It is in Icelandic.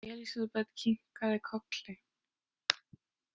Elísabet kinkaði kolli.